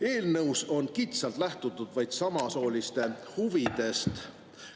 Eelnõus on kitsalt lähtutud vaid samasooliste huvidest.